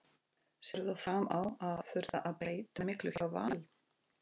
Sérðu fram á að þurfa að breyta miklu hjá Val?